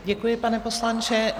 Děkuji, pane poslanče.